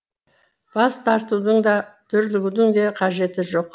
бас тартудың да дүрлігудің де қажеті жоқ